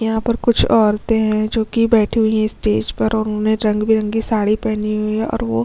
यहाँ पर कुछ ओरते है जोकि बैठी हुई है स्टेज पर और उन्हें रंग बिरंगी साड़ी पहनी हुई है और वो--